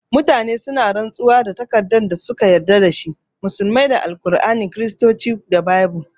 Mutane suna rantsuwa da takardar da suka yarda da shi, musulmai da al'aur'ani, Kiristoci kuma da baibul